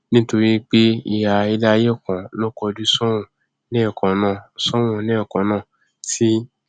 nítorí pé ihà iléaiyé kan ló kojú sóòrùn lẹẹkannáà sóòrùn lẹẹkannáà tí